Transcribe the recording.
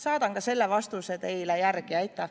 Saadan ka selle vastuse teile järele.